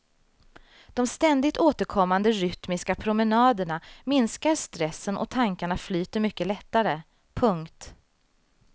De ständigt återkommande rytmiska promenaderna minskar stressen och tankarna flyter mycket lättare. punkt